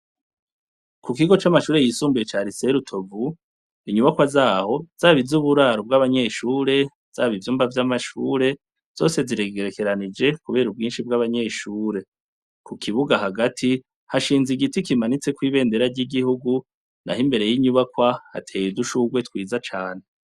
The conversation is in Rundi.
Ku kigo c'amashure yisumbiye carise rutovu inyubakwa zaho zaba izo uburaro ubw'abanyeshure zaba ivyumba vy'amashure zose ziregerekeranije, kubera ubwinshi bw'abanyeshure ku kibuga hagati hashinze igiti kimanitse kw'ibendera ry'igihugu na ho imbere y'inyubakwa hateye udushurwe twiza cane.